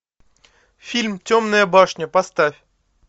фильм темная башня поставь